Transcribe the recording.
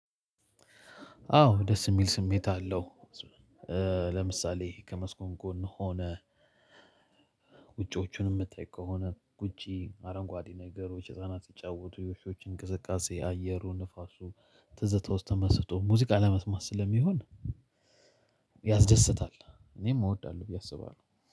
አዎ ደስ የሚል ስሜት አለው። ለምሳሌ ከመስኮት ጎን ሆነህ ውጪዎቹንም የምትጠይቅ ከሆነ ውጭ አረንጓዴ ነገሮች ህፃናት ይጫወቱ የውሾች እንቅስቃሴ አየሩ ንፋሱ ትዝታዎች ተመስጦ ሙዚቃ ለመስማት ስለሚሆን። ያስደስታል እኔም እወዳለሁ ብዬ አስባለሁ።